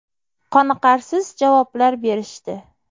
Qoniqarsiz javoblar berishdi.